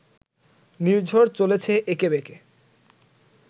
নির্ঝর চলেছে এঁকে বেঁকে